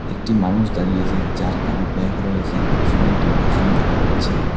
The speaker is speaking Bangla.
একটি মানুষ দাঁড়িয়ে আছে যার কাঁধে ব্যাগ রয়েছে পিছনে একটি ওয়াশরুম দেখা যাচ্ছে।